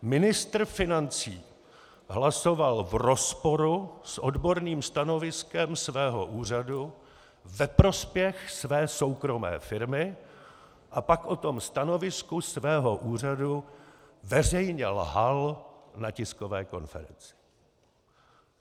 Ministr financí hlasoval v rozporu s odborným stanoviskem svého úřadu ve prospěch své soukromé firmy a pak o tom stanovisku svého úřadu veřejně lhal na tiskové konferenci.